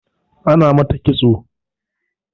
Ana mata ƙitso